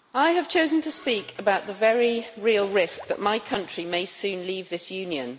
Mr President, I have chosen to speak about the very real risk that my country may soon leave this Union.